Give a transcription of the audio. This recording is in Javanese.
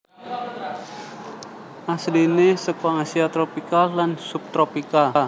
Asliné seka Asia tropika lan subtropika